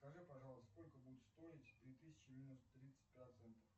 скажи пожалуйста сколько будет стоить три тысячи минус тридцать процентов